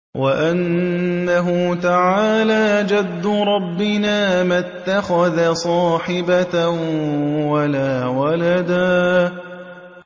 وَأَنَّهُ تَعَالَىٰ جَدُّ رَبِّنَا مَا اتَّخَذَ صَاحِبَةً وَلَا وَلَدًا